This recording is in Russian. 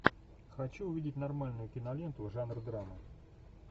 хочу увидеть нормальную киноленту жанр драма